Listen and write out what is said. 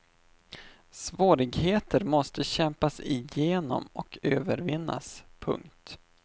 Svårigheter måste kämpas igenom och övervinnas. punkt